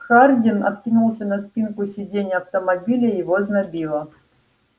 хардин откинулся на спинку сидения автомобиля его знобило